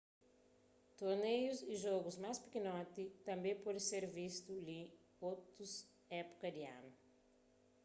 torneius y jogus más pikinoti tanbê pode ser vistu li na otus épuka di anu